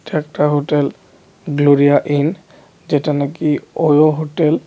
এটা একটা hotel Gloria Inn যেটা নাকি ওয়ো হোটেল .